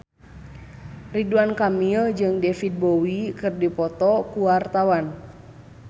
Ridwan Kamil jeung David Bowie keur dipoto ku wartawan